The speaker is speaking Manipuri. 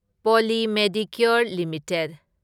poly Medicure limited